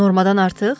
Normadan artıq?